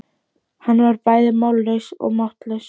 Hann var bæði mállaus og máttlaus.